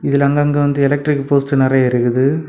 இதுல அங்கங்கெ வந்து எலக்ட்ரிக் போஸ்ட் நெறைய இருக்குது.